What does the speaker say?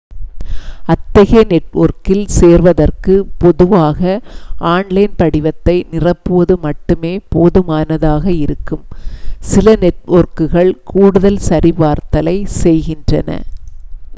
அத்தகைய நெட்வொர்க்கில் சேர்வதற்கு பொதுவாக ஆன்லைன் படிவத்தை நிரப்புவது மட்டுமே போதுமானதாக இருக்கும் சில நெட்வொர்க்குகள் கூடுதல் சரிபார்த்தலைச் செய்கின்றன